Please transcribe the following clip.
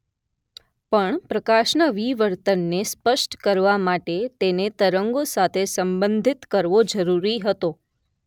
પણ પ્રકાશના વિવર્તનને સ્પષ્ટ કરવા માટે તેને તરંગો સાથે સંબંધિત કરવો જરૂરી હતો